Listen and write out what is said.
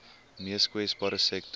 mees kwesbare sektore